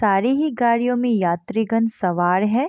सारी ही गाड़ियों में यात्रीगण सवार है |